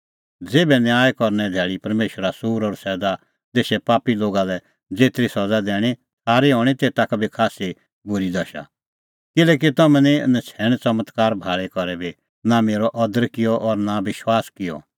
ज़ेभै न्याय करने धैल़ी परमेशरा सूर और सैदा देशे पापी लोगा लै ज़ेतरी सज़ा दैणीं थारी हणीं तेता का बी खास्सी बूरी दशा किल्हैकि तम्हैं निं नछ़ैण च़मत्कार भाल़ी करै बी नां मेरअ अदर किअ और नां विश्वास किअ